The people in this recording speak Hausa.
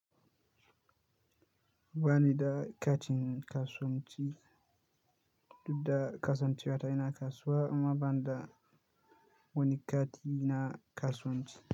Ba ni da katin kasuwanci, duk da kasancewata ina kasuwa amma ban da wani kati na kasuwanci.